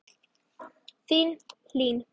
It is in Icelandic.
Þín, Hlín.